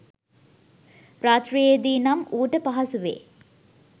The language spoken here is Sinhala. රාත්‍රියේදී නම් ඌට පහසුවෙ